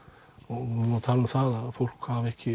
vorum að tala um það að fólk hafi ekki